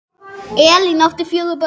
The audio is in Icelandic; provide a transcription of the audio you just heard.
Elín átti fjögur börn.